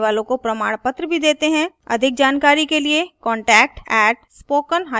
अधिक जानकारी के लिए contact @spokentutorial org पर लिखें